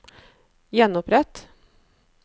gjenopprett